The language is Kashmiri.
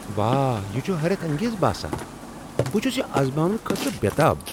واہ، یہ چھ حیرت انگیز باسان! بہٕ چُھس یِہ آزماونہٕ خٲطرٕ بےٚ تاب ۔